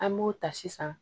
An b'o ta sisan